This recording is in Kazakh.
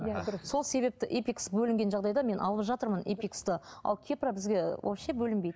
иә дұрыс сол себепті эпикс бөлінген жағдайда мен алып жатырмын эпиксты ал кепра бізге вообще бөлінбейді